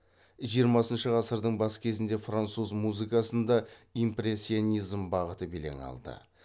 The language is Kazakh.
жиырмасыншы ғасырдың бас кезінде француз музыкасында импрессионизм бағыты белең алды